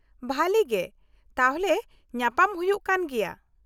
- ᱵᱷᱟᱞᱤ ᱜᱮ , ᱛᱟᱦᱞᱮ ᱧᱟᱯᱟᱢ ᱦᱩᱭᱩᱜ ᱠᱟᱱ ᱜᱮᱭᱟ ᱾